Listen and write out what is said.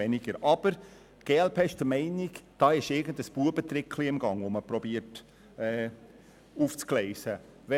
Aber die glp ist der Meinung, da sei ein «Bubentrickli» im Gang, das man aufzugleisen versucht.